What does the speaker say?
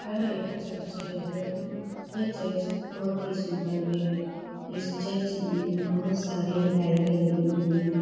यह एक चर्च है यह चर्च बहुत ही सुंदर है इस चर्च में बहुत सरे लाइटें लगी हुई हैं ।